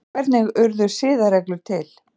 hvernig urðu siðareglur til